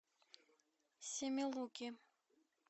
семилуки